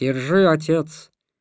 держи отец